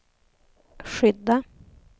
skydda